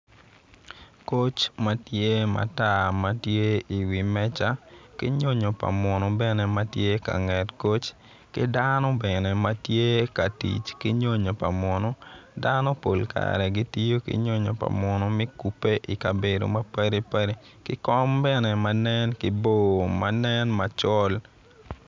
Koc matar ma tye i wi meja ki nyonyo pa muno bene ma tye i nget koc ki dano bene ma tye ka tic ki nyonyo pa muno dano pol kare gitiyo ki nyonyo pa muno me kube i kabedo mapadipadi kom bene ma nen macol.